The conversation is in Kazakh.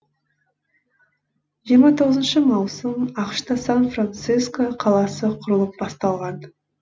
жиырма тоғызыншы маусым ақшта сан франсиско қаласы құрылып басталған